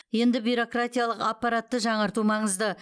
енді бюрократиялық аппаратты жаңарту маңызды